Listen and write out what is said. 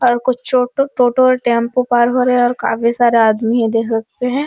और कुछ छोटो टोटो और टम्पू पार हो रहे हैं और काफी सारे आदमी है देख सकते हैं |